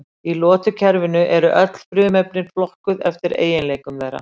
Í lotukerfinu eru öll frumefnin flokkuð eftir eiginleikum þeirra.